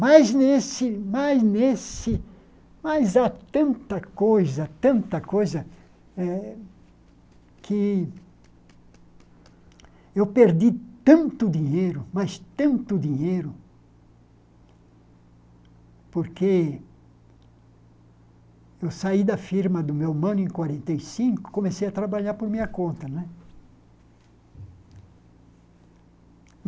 Mas nesse mas nesse mas há tanta coisa, tanta coisa eh, que eu perdi tanto dinheiro, mas tanto dinheiro, porque eu saí da firma do meu mano em quarenta e cinco e comecei a trabalhar por minha conta né.